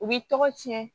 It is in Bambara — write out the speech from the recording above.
U b'i tɔgɔ cɛn